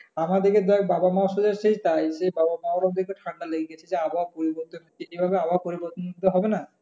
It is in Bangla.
আমার সাথে বাবা মার ও তাই বাবা মার ও ঠান্ডা লেগে গেছে যে আবহাওয়া পরিবর্তন এভাবে আবহাওয়া পরিবর্তন হলে তো হবেনা।